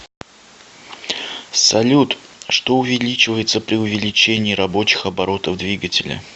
салют что увеличивается при увеличении рабочих оборотов двигателя